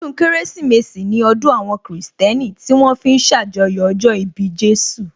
Ọdún Kérésìmesì ní ọdún àwọn kìrìsìtẹ́nì tí wón fi ń ṣàjọyọ̀ ọjọ́ ìbí Jésù